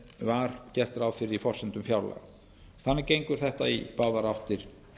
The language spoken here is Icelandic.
var gert ráð fyrir í forsendum fjárlaga þannig gengur þetta í báðar áttir